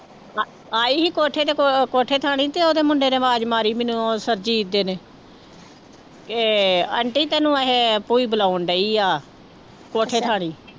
ਆਈ ਸੀ ਕੋਠੇ ਤੇ ਕ ਕੋਠੇ ਥਣੀ ਤੇ ਉਹਦੇ ਮੁੰਡੇ ਨੇ ਆਵਾਜ਼ ਮਾਰੀ ਮੈਨੂੰ ਉਹ ਸਰਜੀਤ ਦੇ ਨੇ ਕਿ ਆਂਟੀ ਤੈਨੂੰ ਇਹ ਭੂਈ ਬੁਲਾਉਣ ਡਈ ਆ ਕੋਠੇ ਥਾਣੀ